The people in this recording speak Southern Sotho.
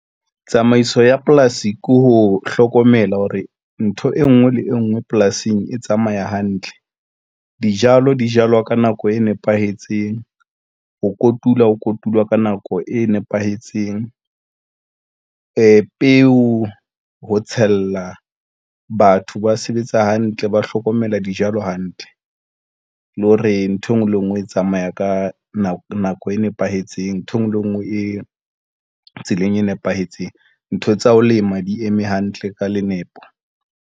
Tsamaiso ya polasi ke ho hlokomela hore ntho engwe le engwe polasing e tsamaya hantle. Dijalo di jalwa ka nako e nepahetseng. Ho kotula ho kotulwa ka nako e nepahetseng. Peo ho tshela batho ba sebetsa hantle, ba hlokomela dijalo hantle le hore nthwe ngwe le engwe e tsamaya ka nako, nako e nepahetseng, ntho engwe le ngwe e tseleng e nepahetseng. Ntho tsa ho lema di eme hantle ka nepo.